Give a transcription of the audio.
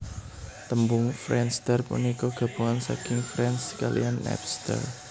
Tembung friendster punika gabungan saking friends kaliyan Napster